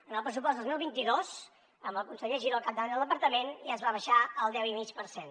en el pressupost dos mil vint dos amb el conseller giró al capdavant del departament ja es va abaixar al deu i mig per cent